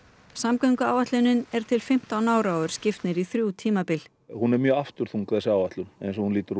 samgönguáætlunin er til fimmtán ára og er skipt niður í þrjú tímabil hún er mjög afturþung þessi áætlun eins og hún lítur